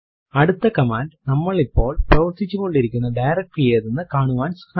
അടുത്ത കമാൻഡ് നമ്മൾ ഇപ്പോൾ പ്രവര്ത്തിച്ചുകൊണ്ടിരിക്കുന്ന ഡയറക്ടറി ഏതെന്നു കാണുവാൻ സഹായിക്കുന്നു